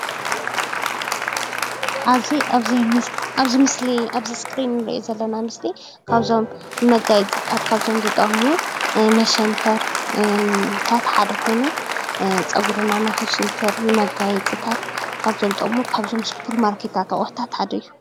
ኣብዚ ምስሊ እንረኦም ዘለና ምስልታት ካብቶም መጋየፅታት እንጥቀመሎም መሰተሪ ሓደ ኮይኑ ፀጉሪና ንክስንትረልና ናይ ስፖርማርኬት አቁሑት ሓደ እዩ፡፡